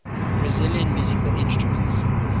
brazilian musical instruments